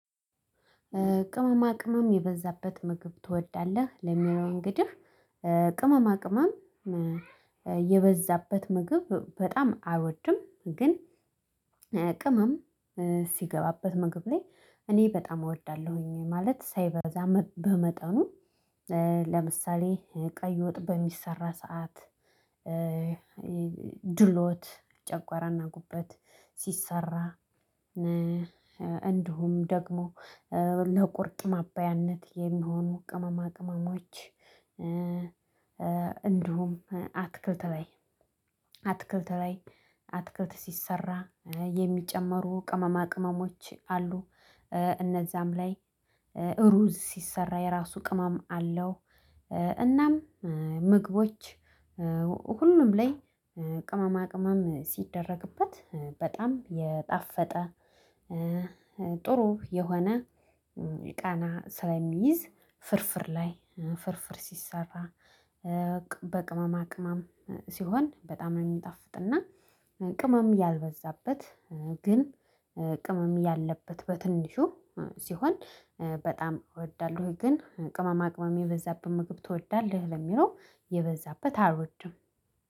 ቅመማ ቅመም የበዛበት ምግብ ትወዳለህ ለሚለው እንግዲህ ቅመማ ቅመም የበዛበት ምግብ በጣም አልወድም ግን ቅመም ሲገባበት ምግብ ላይ እኔ በጣም እወዳለሁኝ። ማለት ሳይበዛ በመጠኑ ለምሳሌ ቀይ ወጥ በሚሰራ ሰዓት ድሎት ጨጉዋራና ጉበት ሲሰራ እንዲሁም ደግሞ ለቁርጥ ማባያነት የሚሆኑ ቅመማ ቅመሞዎች። እንዲሁም አትክልት ላይ አትክልት ላይ አትክልት ሲሰራ የሚጨመሩ ቅመማ ቅመሞች አሉ። እነዛም ላይ እሩዝ ሲሰራ የራሱ ቅመም አለው። እናም ምግቦች ሁሉም ላይ ቅመማ ቅመም ሲደረግበት በጣም የጣፈጠ ጥሩ የሆነ የቃና ስለሚይዝ። ፍርፍር ላይ ፍርፍር ሲሰራ በቅመማ ቅመም ሲሆን በጣም ነው። የሚጣፍጥና ቅመም ያልበዛበት ግን ቅመም ያለበት በትንሹ ሲሆን በጣም እወዳለሁኝ። ግን ቅመማ ቅመም የበዛበት ምግብ ትወዳለህ? ለሚለው የበዛበት አልወድም።